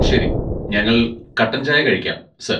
ശരി, ഞങ്ങൾ കട്ടൻ ചായ കഴിക്കാം, സർ.